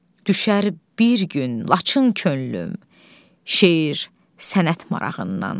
Düşər bir gün Laçın könlüm, şeir, sənət marağından.